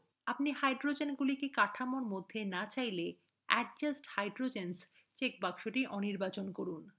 যদি আপনি হাইড্রোজেনগুলিকে কাঠামোর মধ্যে না চান তাহলে adjust hydrogens check box অনির্বাচন করুন